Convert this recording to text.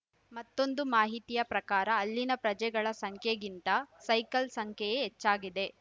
ಮತ್ತೊಂದು ಮಾಹಿತಿಯ ಪ್ರಕಾರ ಅಲ್ಲಿನ ಪ್ರಜೆಗಳ ಸಂಖ್ಯೆಗಿಂತ ಸೈಕಲ್ ಸಂಖ್ಯೆಯೇ ಹೆಚ್ಚಾಗಿದೆ